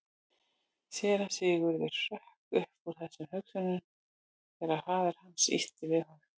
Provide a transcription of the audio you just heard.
Síra Sigurður hrökk upp úr þessum hugsunum þegar að faðir hans ýtti við honum.